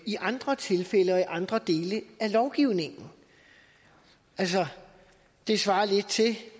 i andre tilfælde og i andre dele af lovgivningen altså det svarer lidt til